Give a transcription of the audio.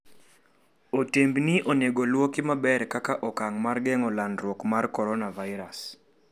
Otembni onego olwoki maber kaka okang' mar geng'o landruok mar coronavirus.